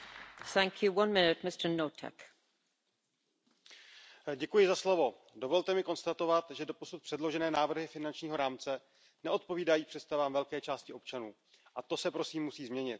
Paní předsedající, dovolte mi konstatovat, že doposud předložené návrhy finančního rámce neodpovídají představám velké části občanů. A to se prosím musí změnit.